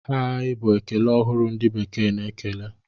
Hai! Bụ ekele ọhụrụ ndị bekee na-ekele.